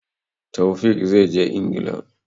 Taofiq zai je Ingila.